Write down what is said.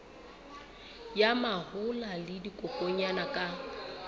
ya mahola le dikokwanyana ka